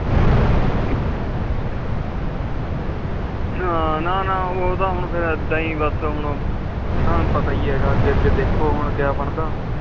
ਹਾਂ ਨਾ ਨਾ ਉਹ ਤਾ ਹੁਣ ਏਦਾਂ ਏ ਆ ਤੈਨੂੰ ਪਤਾ ਏ ਆ ਅਗੇ ਅਗੇ ਦੇਕੀਹੋ ਕੀਆ ਬੰਦਾ